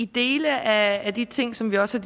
dele af de ting som vi også